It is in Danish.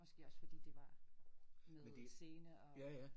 Måske også fordi det var med scene og